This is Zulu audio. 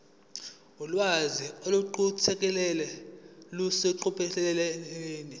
ulwazi oluqukethwe luseqophelweni